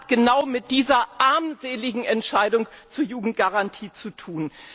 Es hat genau mit dieser armseligen Entscheidung zur Jugendgarantie zu tun.